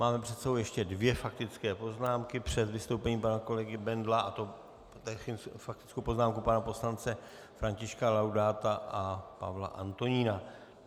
Máme před sebou ještě dvě faktické poznámky před vystoupením pana kolegy Bendla, a to faktickou poznámku pana poslance Františka Laudáta a Pavla Antonína.